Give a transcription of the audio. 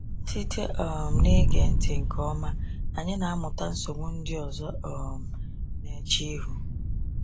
Site um n’ige ntị nke ọma, anyị na-amụta nsogbu ndị ọzọ um na-eche ihu.